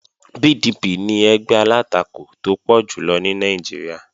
PDP ni ẹgbẹ́ alátakò tó pọ̀ jùlọ ní Nàìjíríà